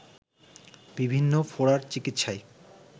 বিভিন্ন ফোঁড়ার চিকিতসায়